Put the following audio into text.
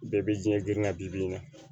Bɛɛ bɛ jiɲɛ girin ka bi bin kan